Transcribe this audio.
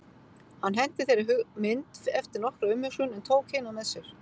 Hann henti þeirri mynd eftir nokkra umhugsun en tók hina með sér.